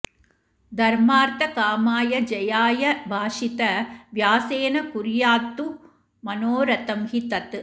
धर्मार्थकामाय जयाय भाषित व्यासेन कुर्यात्तु मनोरथं हि तत्